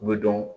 U bɛ dɔn